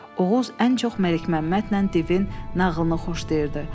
Oğuz ən çox Məlikməmmədlə divin nağılını xoşlayırdı.